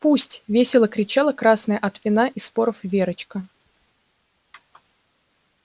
пусть весело кричала красная от вина и споров верочка